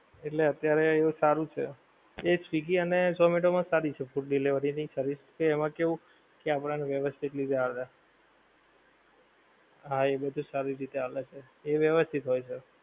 એટલે અત્યારે હવે સારું છે, એ swiggy અને zomato મા સારી છે delivery ની service છે એમાં કેવું કે આપડા ને વેવસતીત રીતે આવડે હા એ બધી સારી રીતે આવડે છે એ વ્યવસ્થિત હોએ છે